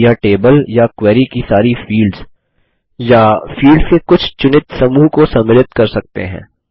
साथ ही यह टेबल या क्वेरी की सारी फील्ड्स या फील्ड्स के कुछ चुनित समूह को सम्मिलित कर सकते हैं